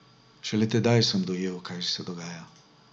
Šele tedaj sem dojel, kaj se dogaja.